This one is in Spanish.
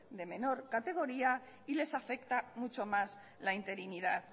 de menor categoría y les afecta mucho más la interinidad